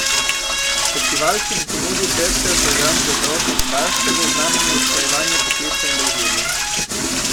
Festival, ki bo ponudil pester program za otroke in starše, bo v znamenju usklajevanja poklica in družine.